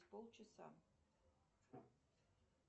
полчаса